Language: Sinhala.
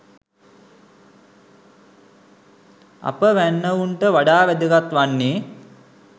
අප වැන්නවුන්ට වඩා වැදගත් වන්නේ